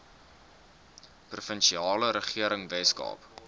provinsiale regering weskaap